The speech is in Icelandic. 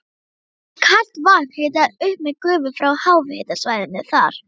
Er kalt vatn hitað upp með gufu frá háhitasvæðinu þar.